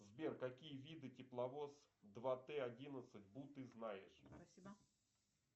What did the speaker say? сбер какие виды тепловоз два т одиннадцать бу ты знаешь